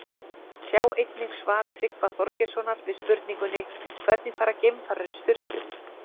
Sjá einnig svar Tryggva Þorgeirssonar við spurningunni Hvernig fara geimfarar í sturtu?